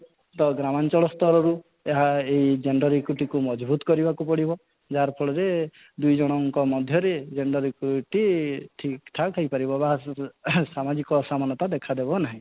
ତ ଗ୍ରାମାଞ୍ଚଳ ସ୍ତରରୁ ଏହା ଏଇ gender equity କୁ ମଜବୁତ କରିବାକୁ ପଡିବ ଯାହାର ଫଳରେ ଦୁଇ ଜଣଙ୍କ ମଧ୍ୟରେ gender equity ଠିକ ଠକ ହେଇ ପାରିବ ବା ଆଗକୁ ସାମାଜିକ ଅସମାନତା ଦେଖା ଦେବ ନାହିଁ